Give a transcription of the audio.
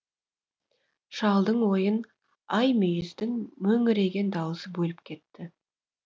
шалдың ойын аймүйіздің мөңіреген дауысы бөліп кетті